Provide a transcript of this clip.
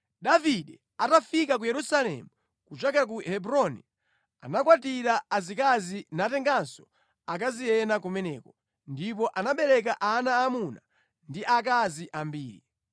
Davide atafika ku Yerusalemu kuchokera ku Hebroni, anakwatira azikazi natenganso akazi ena kumeneko, ndipo anabereka ana aamuna ndi aakazi ambiri.